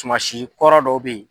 Tumansi kɔrɔ dɔw bɛ ye.